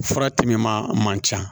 Fura timiman man ca